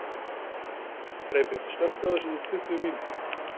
Freybjörn, slökktu á þessu eftir tuttugu mínútur.